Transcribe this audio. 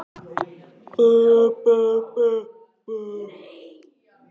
Við verðum að gera ráð fyrir að engin, eða hverfandi lítil, orka tapist.